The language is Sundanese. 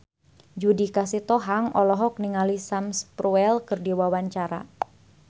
Judika Sitohang olohok ningali Sam Spruell keur diwawancara